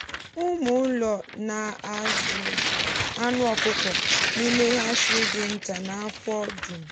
ụmụ ụlọ na-azụ anụ ọkụkọ n’ime hatchery dị nta n’afọ dum.